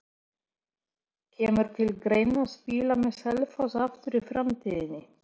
Kemur til greina að spila með Selfoss aftur í framtíðinni?